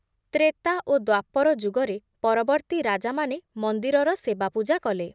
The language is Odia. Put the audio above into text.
ତ୍ରେତା ଓ ଦ୍ଵାପର ଯୁଗରେ ପରବର୍ତ୍ତୀ ରାଜାମାନେ ମନ୍ଦିରର ସେବାପୂଜା କଲେ ।